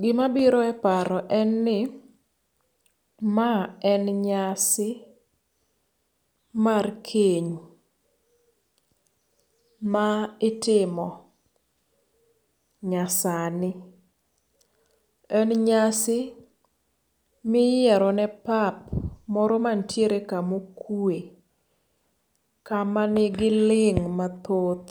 Gima biro eparo en ni, ma en nyasi mar keny ma itimo nyasani. En nyasi miyierone papa moro mantiere kama okwe kama nigi ling' mathoth